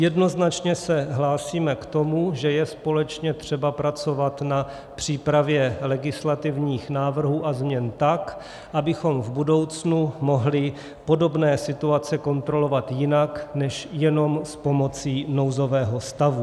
Jednoznačně se hlásím k tomu, že je společně třeba pracovat na přípravě legislativních návrhů a změn tak, abychom v budoucnu mohli podobné situace kontrolovat jinak než jenom s pomocí nouzového stavu.